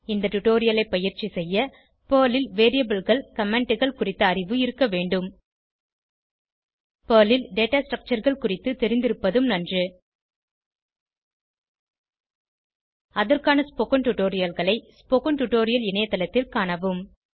இந்த டுடோரியலை பயிற்சி செய்ய பெர்ல் ல் Variableகள் Commentகள் குறித்த அறிவு இருக்க வேண்டும் பெர்ல் ல் டேட்டா structureகள் குறித்து தெரிந்திருப்பதும் நன்று அதற்கான ஸ்போகன் டுடோரியல்களை ஸ்போகன் டுடோரியல் இணையத்தளத்தில் காணவும்